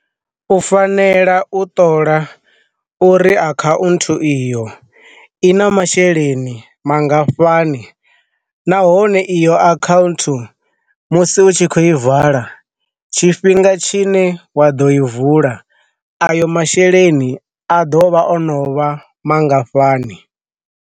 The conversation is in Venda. U fanela u ṱola uri a kha u nthu iyo i na masheleni mangafhani nahone iyo akhauntu musi u tshi kho i vala, tshifhinga tshi ne wa ḓo i vula a yo masheleni a ḓo vha ono vha mangafhani.